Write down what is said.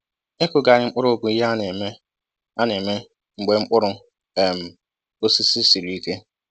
Ịkụghari mkpụrụ bụ ihe a na-eme a na-eme mgbe mkpụrụ um osisi sịrị ike